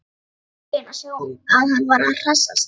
Ég var feginn að sjá að hann var að hressast!